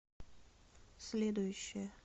следующая